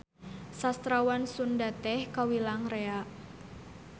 Sastrawan Sunda teh kawilang rea.